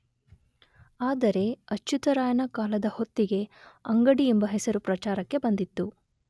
ಆದರೆ ಅಚ್ಚುತರಾಯನ ಕಾಲದ ಹೊತ್ತಿಗೆ ಅಂಗಡಿ ಎಂಬ ಹೆಸರು ಪ್ರಚಾರಕ್ಕೆ ಬಂದಿತ್ತು.